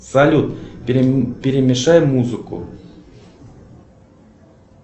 салют перемешай музыку